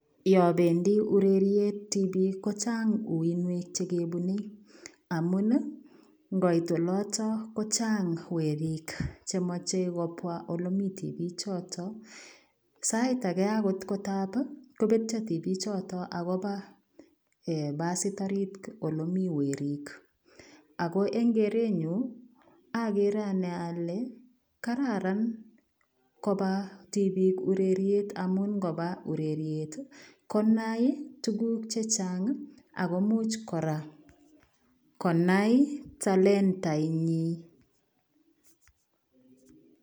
Yaan bendii ureriet tibiik ii kochaang uinuek chekebunei amuun ii ingoit olataan kochaang weriik che machei kobwa ole Mii tibiig chotoon sait agei ko taab kobetya tibiik chotoon agobaa eeh bassiit oriit ole Mii weriig ,ako eng keretnyuun agere ane ale kararan kobaa tibiik ureriet amuun ingobaa ureriet konai tuguuk chechaang akobiit kora konai talentait nyii.